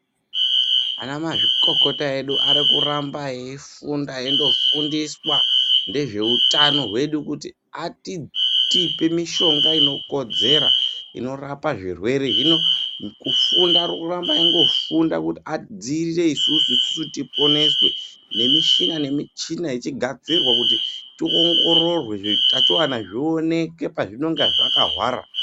Ana mazvikokota edu arikuramba eifunda eindofundiswa ngezveutano hwedu kuti atipe mishonga inokodzera inorape zvirwere hino kufunda arikurambe eindofunda kuri adziirire isusu nemichini nemichini ichigadzirwa kuti tiongororwe zvitachiona zvionekwe pazvinonga zvakahwara.